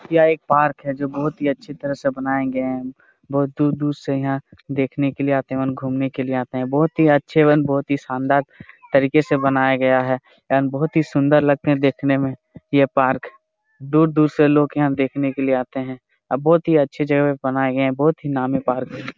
यह एक पार्क है जो बहुत ही अच्छी तरह से बनाया गए है बहुत दूर दूर से यहां देखने के लिए आते हैं घूमने के लिए आते हैं बहुत ही अच्छे एवं बहुत ही शानदार तरीके से बनाया गया है एंड बहुत ही सुंदर लगते है देखने में यह पार्क दूर-दूर से लोग यहां देखने के लिए आते है अब बहुत ही अच्छी जगह बनाए गए है बहुत ही नामी पार्क है।